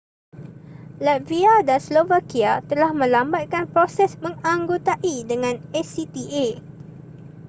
latvia dan slovakia telah melambatkan proses menganggotai dengan acta